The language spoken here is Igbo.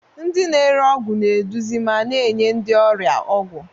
Ndị na-ere ọgwụ na-eduzi ma na-enye ndị ọrịa ọgwụ.